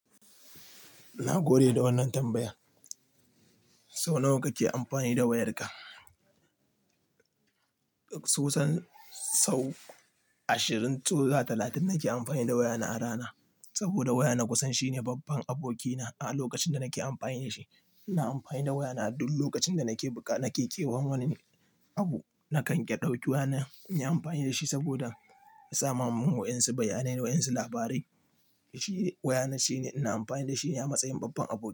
Na gode da wannan tambayar. Sau nawa kake amfani da wayarka? Kusan sau ashirin zuwa talatin nake amfani da wayana a rana. Saboda waya na kusan shine babban abokina a lokacin da nake amfani da shi. Ina amfani da wayana duk lokacin da nake buƙata. Nake kewan wani abu nakan ɗauki wayana na yi amfani da shi saboda ya sama min wayansu bayanai da wayansu labarai. Shi waya na shine ina amfani da shi a matsayin babban aboki.